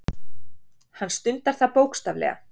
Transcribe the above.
Hann stundar það bókstaflega.